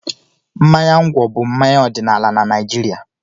Mmanya ngwọ bụ mmanya ọdịnala na Naịjirịa.